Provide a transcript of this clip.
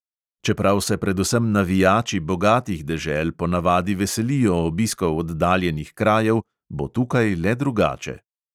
Čeprav se predvsem navijači bogatih dežel ponavadi veselijo obiskov oddaljenih krajev, bo tukaj le drugače.